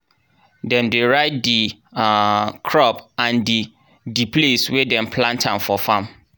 dem dey write di um crop and di di place wey dem plant am for farm.